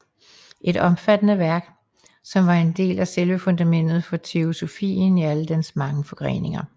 Et omfattende værk som var en del af selve fundamentet for teosofien i alle dens mange forgreninger